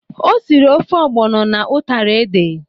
O siri ofe ọgbọnọ na utara ede.